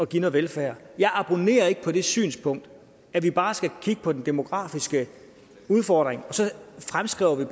give noget velfærd jeg abonnerer ikke på det synspunkt at vi bare skal kigge på den demografiske udfordring og så fremskrive det